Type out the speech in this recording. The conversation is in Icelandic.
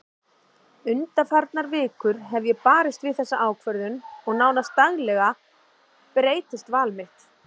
Undanfarnar vikur hef ég barist við þessa ákvörðun og nánast daglega breytist val mitt.